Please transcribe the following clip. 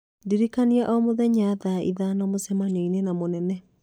ndirikanagia o mũthenya thaa ithano mũcemanio-inĩ na mũnene